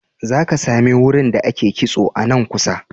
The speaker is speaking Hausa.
Za ka sami wurin da ake kitso a nan kusa.